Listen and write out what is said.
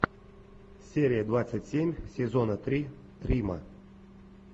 серия двадцать семь сезона три прима